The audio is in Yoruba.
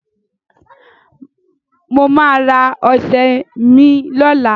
Mo ma ra ọṣẹ mi lọ́la